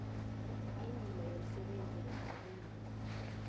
indima yomsebenzi yamalungu